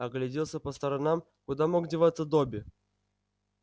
огляделся по сторонам куда мог деваться добби